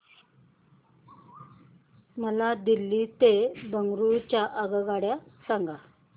मला दिल्ली ते बंगळूरू च्या आगगाडया सांगा